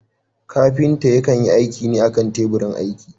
Kafinta yakan yi aiki ne a kan teburin aiki.